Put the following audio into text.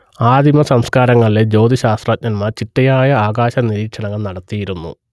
ആദിമസംസ്കാരങ്ങളിലെ ജ്യോതിശ്ശാസ്ത്രജ്ഞന്മാർ ചിട്ടയായ ആകാശനിരീക്ഷണങ്ങൾ നടത്തിയിരുന്നു